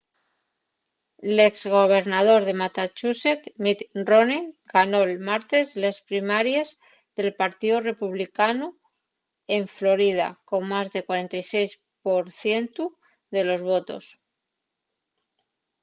l’ex gobernador de massachusetts mitt romney ganó’l martes les primaries del partíu republicanu en florida con más del 46 por cientu de los votos